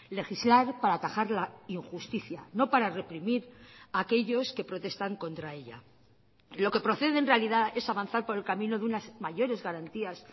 legislar para atajar la injusticia no para reprimir aquellos que protestan contra ella lo que procede en realidad es avanzar por el camino de unas mayores garantías